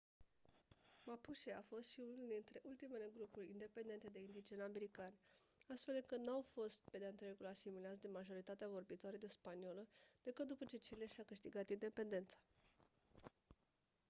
mapuche a fost și unul dintre ultimele grupuri independente de indigeni americani astfel încât n-au fost pe de-a întregul asimilați de majoritatea vorbitoare de spaniolă decât după ce chile și-a câștigat independența